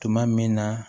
Tuma min na